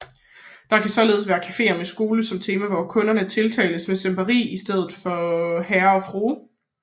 Det kan således være caféer med skole som tema hvor kunderne tiltales som sempai i stedet for Herre eller Frue